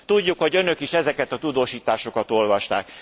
Tudjuk, hogy önök is ezeket a tudósításokat olvasták.